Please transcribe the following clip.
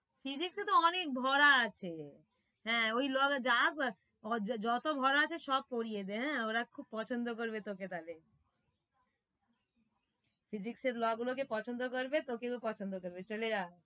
Physics এ তো অনেক ভরা আছে হ্যাঁ ওই যত ভরা আছে সব পড়িয়ে দে আহ ওরা খুব পছন্দ করবে তোকে তাহলে physics এর law গুলোকে পছন্দ করবে তোকেও পছন্দ করবে চলে যা,